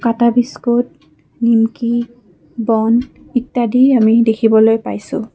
কাটা বিস্কুট নিকমি বন ইত্যাদি আমি দেখিবলৈ পাইছোঁ।